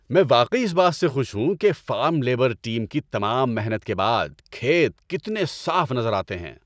میں واقعی اس بات سے خوش ہوں کہ فارم لیبر ٹیم کی تمام محنت کے بعد کھیت کتنے صاف نظر آتے ہیں۔